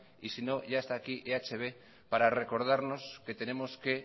y si no ya esta aquí eh bildu para recordarnos que tenemos que